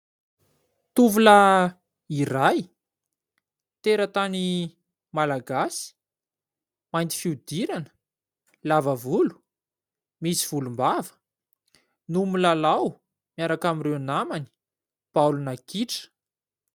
Tovolahy iray, teratany malagasy, mainty fihodirana, lava volo, misy volombava no milalao, miaraka amin'ireo namany, baolina kitra.